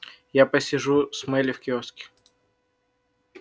я посижу с мелли в киоске